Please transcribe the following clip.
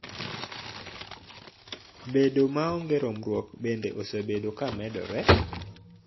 Bedo maonge romruok bende osebedo ka medore